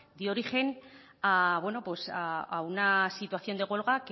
dio origen a una situación de huelga